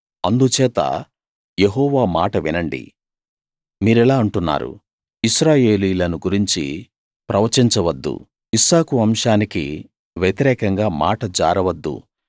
అందుచేత యెహోవా మాట వినండి మీరిలా అంటున్నారు ఇశ్రాయేలీయులను గురించి ప్రవచించవద్దు ఇస్సాకు వంశానికి వ్యతిరేకంగా మాట జారవద్దు